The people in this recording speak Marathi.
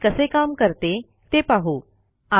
सीएमपी कसे काम करते ते पाहू